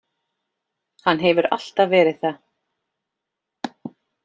Hann hefur alltaf verið það.